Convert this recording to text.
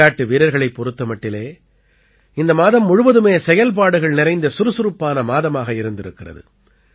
விளையாட்டு வீரர்களைப் பொறுத்த மட்டிலே இந்த மாதம் முழுவதுமே செயல்பாடுகள் நிறைந்த சுறுசுறுப்பான மாதமாக இருந்திருக்கிறது